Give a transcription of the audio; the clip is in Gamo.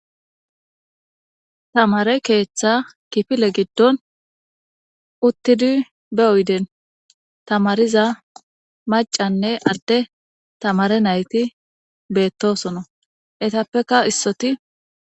tamare keeththa kifile giddon uttidi be oyden tamariza macanne adde tamare nayti beettosono etappeka issoti